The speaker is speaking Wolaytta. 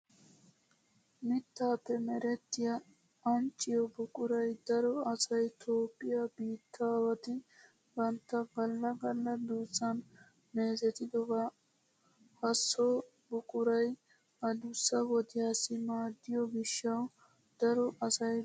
Mittaappe merettiya ancciyo buquray daro asay toophphiya biittaawati bantta galla galla duussan meezetidoba. Ha so buquray adussa wodiyassi maaddiyo gishshawu daro asay dosees.